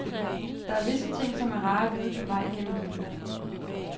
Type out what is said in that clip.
Der er visse ting, som er rare at vide på vej gennem livet.